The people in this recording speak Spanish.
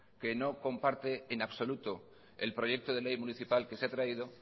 que no comparte en absoluto el proyecto de ley municipal que se ha traído